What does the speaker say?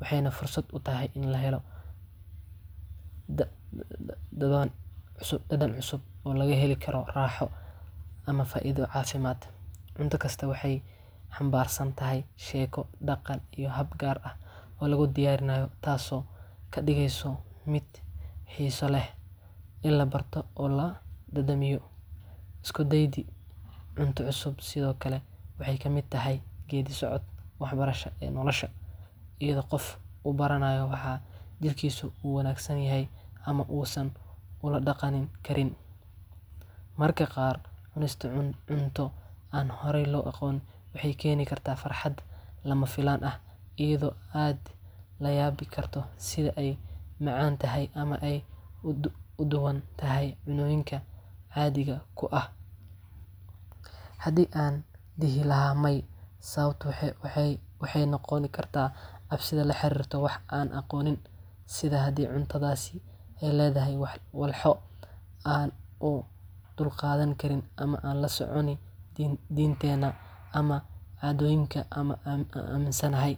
Waxayna fursad u tahay in la helo dhadan cusub oo laga heli karo raaxo ama faaiido caasimad cunto kista waxay xambaarsan tahay sheeko Dhaqan iyo hab gaar ah oo lagu diyaarinayo Taasoo ka dhigayso. miid xiiso lehIn la barto oo la dadamiyo Isku daygi cunto cusub sidoo Kale waxay ka miid tahay geeddi socod waxbarasho ee Nolosha iyadoo qof uu baranayo waxaa jirkiisa uu wanaagsan yahay ama uusan ula dhaqan Karin Marka qaar cunista cunto aan horay loo aqoon waxay keeni kartaa farxad lama filaan ah iyadoo aada la yaabi karto sida ay macaan tahay ama ay duwan tahay cunnooyinka caadiga ku ah Haddii aan dhihi lahaay maay sababto waxa waxay noqoni kartaa cabashada la xiriirto wax aan aqoonin sida haddii cuntadaasi ay leedahay wax walxo aan u dulqaadan Karin ama aan la socon diinteena ama aminsanahay.